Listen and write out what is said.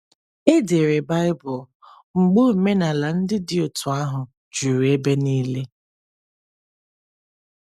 E dere Baịbụl mgbe omenala ndị dị otú ahụ juru ebe niile.